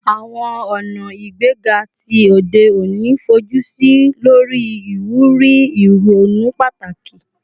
Awọn ọna igbega ti ode oni fojusi lori iwuri ironu pataki